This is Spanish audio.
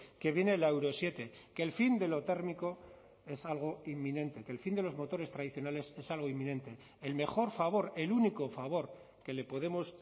que viene la euro siete que el fin de lo térmico es algo inminente que el fin de los motores tradicionales es algo inminente el mejor favor el único favor que le podemos